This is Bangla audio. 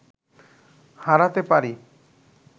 হারাতে পারি